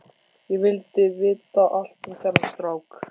Ég vildi vita allt um þennan strák.